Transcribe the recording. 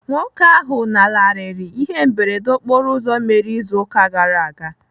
Nwoke ahụ lanarịrị ihe mberede okporo ụzọ mere ịzụ ụka gara aga.